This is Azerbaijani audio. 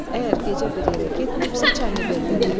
Əgər gecə bir yerə getməyibsə, Çənlibeldədir.